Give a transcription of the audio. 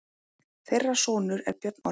Þeirra sonur er Björn Orri.